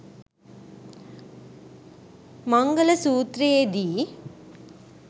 මංගල සූත්‍රයේ දී